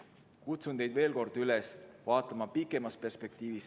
Kutsun teid veel kord üles vaatama seda pikemas perspektiivis.